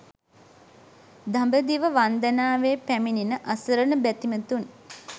දඹදිව වන්දනාවේ පැමිණෙන අසරණ බැතිමතුන්